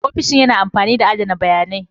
Ofishin yana amfani da adana bayanai.